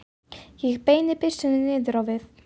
Ég beini byssunni niður á við.